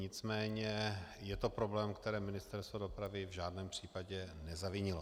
Nicméně je to problém, který Ministerstvo dopravy v žádném případě nezavinilo.